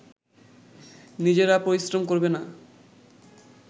নিজেরা পরিশ্রম করবে না